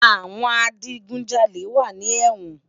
Awòn àjigúnjàlé wà ni èwòn